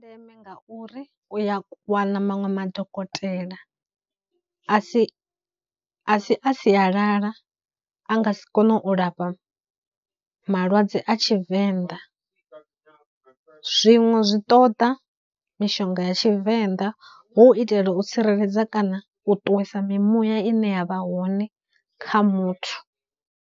Ndeme ngauri uya wana maṅwe madokotela a si, a si a sialala a nga si kone u lafha malwadze a Tshivenḓa zwiṅwe zwi ṱoda mishonga ya Tshivenḓa hu u itela u tsireledza kana u ṱuwisa mimuya ine ya vha hone kha muthu.